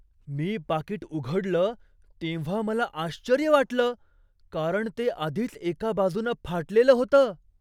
मी पाकीट उघडलं तेव्हा मला आश्चर्य वाटलं, कारण ते आधीच एका बाजूनं फाटलेलं होतं!